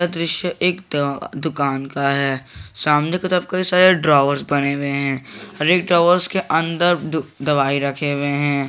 यह दृश्य एक दुकान का है सामने के तरफ कई सारे ड्रावर्स बने हुए हैं हर एक ड्रावर्स के अंदर दवाई रखे हुए हैं।